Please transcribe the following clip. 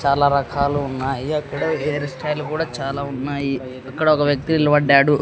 చాలా రకాలు ఉన్నాయి అక్కడ హెయిర్ స్టైల్ కూడా చాలా ఉన్నాయి అక్కడ ఒక వ్యక్తి నిలబడ్డాడు.